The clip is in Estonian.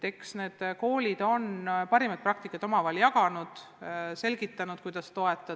Eks need koolid on parimat praktikat omavahel jaganud, selgitanud, kuidas toetada.